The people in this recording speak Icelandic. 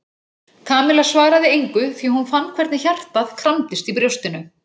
Kamilla svaraði engu því hún fann hvernig hjartað kramdist í brjóstinu.